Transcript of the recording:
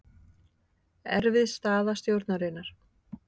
Erfið staða stjórnarinnar